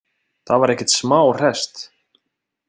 Það var ekkert smá hresst.